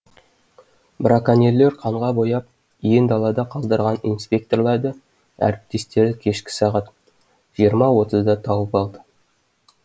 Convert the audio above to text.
браконьерлер қанға бояп иен далада қалдырған инспекторларды әріптестері кешкі сағат жиырма отызда тауып алды